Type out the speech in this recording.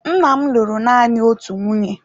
Nna m lụrụ nanị otu nwunye.